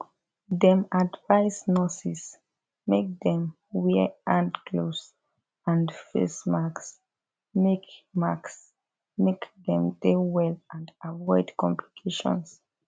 dem advise nurses make dem wear hand gloves and face masks make masks make dem dey well and avoid complications